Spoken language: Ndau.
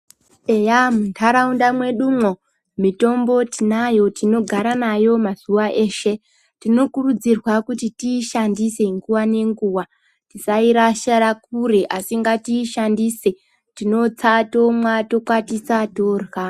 Eya muntaraunda mwedumwo mitombo tinayo tinogara nayo mazuva eshe tinokurudzirwa kuti tiishandise nguva nenguva tisairashira kure asi ngatiishandise tinotsa, tomwa tokwatisa torya.